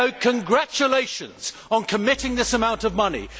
Congratulations on committing this amount of money.